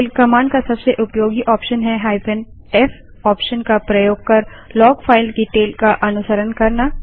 tail command का सबसे उपयोगी ऑप्शन है -f ऑप्शन का प्रयोग कर लॉग फाइल की टेल का अनुसरण करना